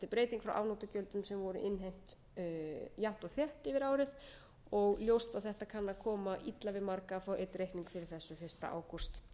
breyting frá afnotagjöldum sem voru innheimt jafnt og þétt yfir árið og ljóst að þetta kann að koma illa við margra að fá einn reikning fyrir þessu fyrsta ágúst